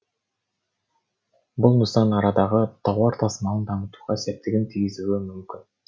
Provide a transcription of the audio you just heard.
бұл нысан арадағы тауар тасымалын дамытуға септігін тигізуі мүмкін